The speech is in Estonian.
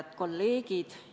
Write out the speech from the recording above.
Head kolleegid!